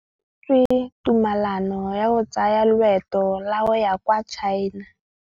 O neetswe tumalanô ya go tsaya loetô la go ya kwa China.